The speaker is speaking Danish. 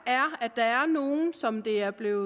er at der er nogle som det er blevet